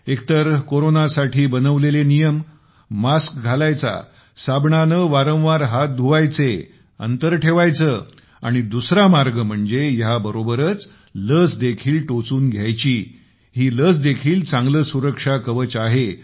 एकतर कोरोनासाठी बनविलेले नियम मास्क घालायचा साबणाने वारंवार हात धुवायचे अंतर ठेवायचे आणि दुसरा मार्ग म्हणजे ह्या बरोबरच लस देखील टोचुन घ्यायची ही लस देखील चांगले सुरक्षा कवच आहे